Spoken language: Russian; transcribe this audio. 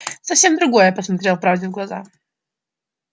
совсем другое посмотрел правде в глаза